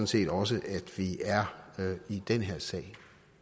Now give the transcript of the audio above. set også at vi er i den her sag